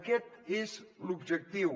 aquest és l’objectiu